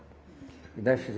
E daí